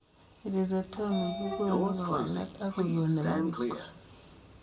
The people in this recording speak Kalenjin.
Rhizotomi kogonuu kokwalak akogoon nepo kipkoi